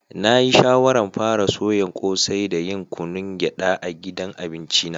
Na yi shawaran fara soyan kose da yin kunun geda a gidan abinci na.